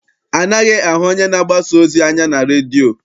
Anaghị ahụ onye na-agbasa ozi anya na redio.